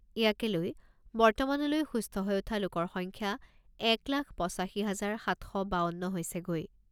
ইয়াকে লৈ বৰ্তমানলৈ সুস্থ হৈ উঠা লোকৰ সংখ্যা এক লাখ পঁচাশী হাজাৰ সাত শ বাৱন্ন হৈছেগৈ।